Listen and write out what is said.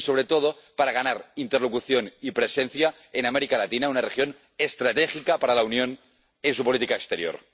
y, sobre todo, para ganar interlocución y presencia en América Latina, una región estratégica para la Unión en su política exterior.